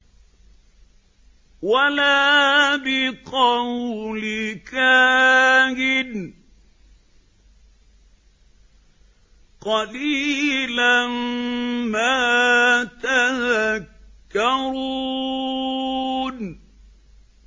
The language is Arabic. وَلَا بِقَوْلِ كَاهِنٍ ۚ قَلِيلًا مَّا تَذَكَّرُونَ